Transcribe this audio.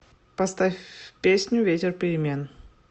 поставь песню ветер перемен